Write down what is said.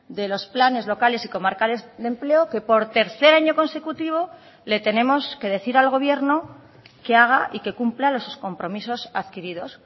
de los planes locales y comarcales de empleo que por tercer año consecutivo le tenemos que decir al gobierno que haga y que cumpla los compromisos adquiridos